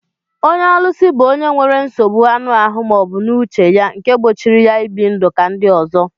Ónyé ólúsi bụ ọnye nwere nsogbụ aṅụ ahụ maọbu n'uche ya nke gbochiri ya ibi ndụ ka ndị ọzọ.